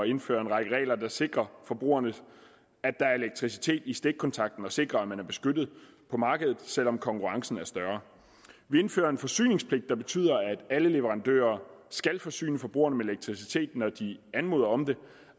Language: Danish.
indføre en række regler der sikrer forbrugerne at der er elektricitet i stikkontakten og sikrer at man er beskyttet på markedet selv om konkurrencen er større vi indfører en forsyningspligt der betyder at alle leverandører skal forsyne forbrugerne med elektricitet når de anmoder om det